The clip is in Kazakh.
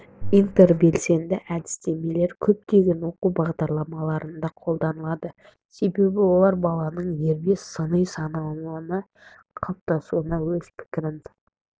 интербелсенді әдістемелер көптеген оқу бағдарламаларында қолданылады себебі олар баланың дербес сыни ойлауының қалыптасуына өз пікірін